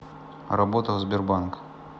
работа в сбербанк